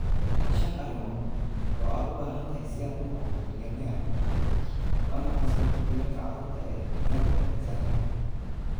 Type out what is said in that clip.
Shan arrimood oo aad u baahan tahay si aad u noqoto bilyaneer: Waa maxay sababta dilalka carruurta ee Njombe, Tanzania?